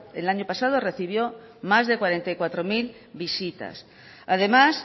el año pasado recibió más de cuarenta y cuatro mil visitas además